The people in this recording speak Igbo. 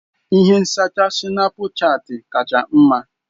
Ihe nzacha Sinapuchati kacha mma.